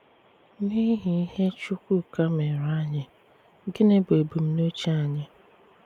N’ìhì̀ ìhè Chùkwùká mèré ànyị, gínị bụ́ ebùmnùchè ànyị?